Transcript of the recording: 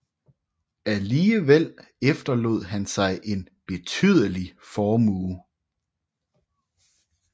Alligevel efterlod han sig en betydelig formue